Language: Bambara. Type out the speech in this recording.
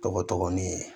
Tɔgɔ dɔgɔnin